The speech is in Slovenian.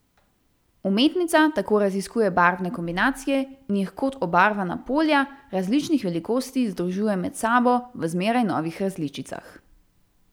Umetnica tako raziskuje barvne kombinacije in jih kot obarvana polja različnih velikosti združuje med sabo v zmeraj novih različicah.